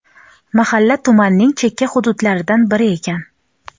Mahalla tumanning chekka hududlaridan biri ekan.